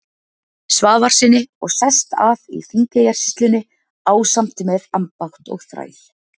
Svavarssyni og sest að í Þingeyjarsýslunni ásamt með ambátt og þræl.